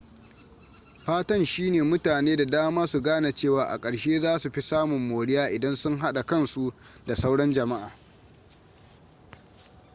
fatan shi ne mutane da dama su gane cewa a karshe za su fi samun moriya idan sun hada kansu da sauran jama'a